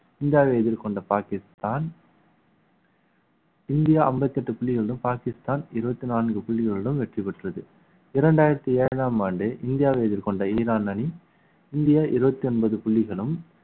இந்தியாவை எதிர்கொண்ட பாகிஸ்தான் இந்தியா அம்பத்தி எட்டு புள்ளிகளும் பாகிஸ்தான் இருபத்தி நான்கு புள்ளிகளிலும் வெற்றி பெற்றது இரண்டாயிரத்தி ஏழாம் ஆண்டு இந்தியாவை எதிர்கொண்ட ஈரான் அணி இந்தியா இருபத்தி ஒன்பது புள்ளிகளும்